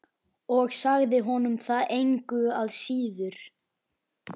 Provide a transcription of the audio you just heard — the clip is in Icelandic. Og sagði honum það engu að síður.